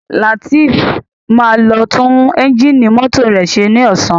Latif má lo tun Ẹ́ńjìnì mọ́tò rẹ ṣe ní Ọ̀sán